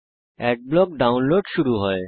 adblock download শুরু হয়